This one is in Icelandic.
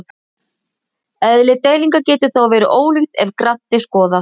Eðli deilingar getur þó verið ólíkt ef grannt er skoðað.